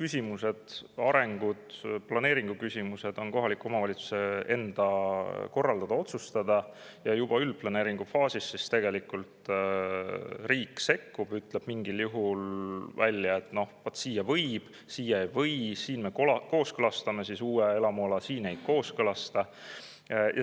küsimused, arengusuunad ja planeeringuküsimused on kohaliku omavalitsuse enda korraldada-otsustada ja juba üldplaneeringufaasis tegelikult riik sekkub, ütleb mingil juhul välja, et vaat siia võib, siia ei või, siin me kooskõlastame uue elamuala, siin ei kooskõlasta.